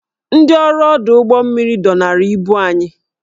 Ndị ọrụ ọdụ ụgbọ mmiri dọnara ibu anyị